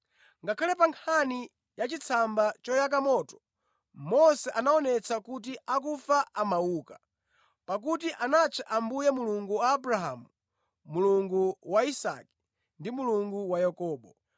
Ngakhale pa nkhani yachitsamba choyaka moto, Mose anaonetsa kuti akufa amauka, pakuti anatcha Ambuye ‘Mulungu wa Abrahamu, Mulungu wa Isake ndi Mulungu wa Yakobo.’